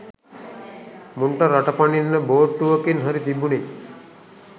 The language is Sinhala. මුන්ට රට පනින්න බෝට්ටුවකින් හරි තිබුන.